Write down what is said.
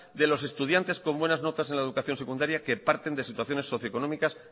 de los estudiantes con buenas notas en la educación secundaria que parten de situaciones socioeconómicas